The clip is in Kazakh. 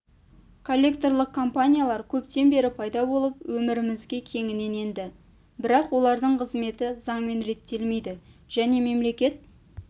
коллекторлық компаниялар көптен бері пайда болып өмірімізге кеңінен енді бірақ олардың қызметі заңмен реттелмейді және мемлекет